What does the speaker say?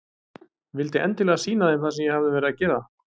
Vildi endilega sýna þeim það sem ég hafði verið að gera.